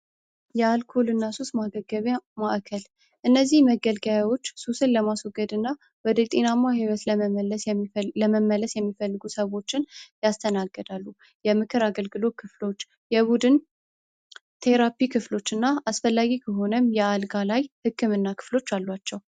የአልኮልና ሱስ ማገቢያ ማእከል እነዚህ መገልገያዎች ሱስን ለማስወገድ እና ወደ ጤናማ ይወት ለመመለስ የሚመለስ የሚፈልጉ ሰዎች ያስተናገዳሉ የምክር አገልግሎት ክፍሎች የቡድን ቴራፒ ክፍሎችና አስፈላጊ ከሆነም የአልጋ ላይ ህክምና ክፍሎች አሏቸው